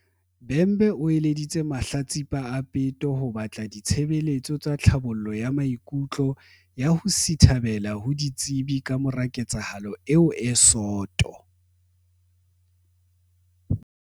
Bhembe o eleditse mahlatsipa a peto ho batla di-tshebeletso tsa tlhabollo ya maikutlo ya ho sithabela ho ditsebi kamora ketsahalo eo e soto.